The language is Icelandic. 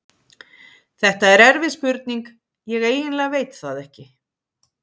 Þetta er erfið spurning, ég eiginlega veit það ekki.